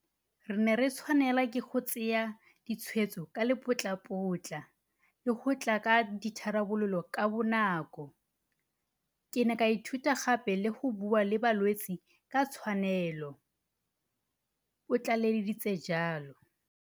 Re ne re tshwanelwa ke go tsaya ditshwetso ka lepotlapotla le go tla ka ditharabololo kabonako. Ke ne ka ithuta gape le go bua le balwetse ka tshwanelo, o tlaleleditse jalo.